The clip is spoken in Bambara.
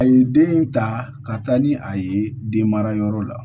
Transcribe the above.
A ye den ta ka taa ni a ye den mara yɔrɔ la